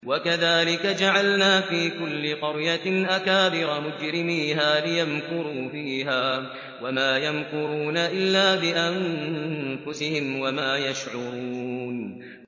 وَكَذَٰلِكَ جَعَلْنَا فِي كُلِّ قَرْيَةٍ أَكَابِرَ مُجْرِمِيهَا لِيَمْكُرُوا فِيهَا ۖ وَمَا يَمْكُرُونَ إِلَّا بِأَنفُسِهِمْ وَمَا يَشْعُرُونَ